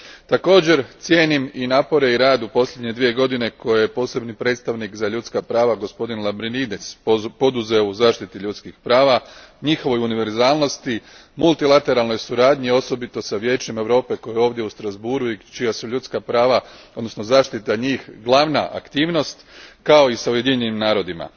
Također cijenim i napore i rad u posljednje dvije godine koje je Posebni predstavnik za ljudska prava, gospodin Lambrinidis, poduzeo u zaštiti ljudskih prava, njihovoj univerzalnosti, multilateralnoj suradnji osobito s Vijećem Europe koje je ovdje u Strasbourgu i kojem su ljudska prava, odnosno zaštita njih, glavna aktivnost, kao i s Ujedinjenim narodima.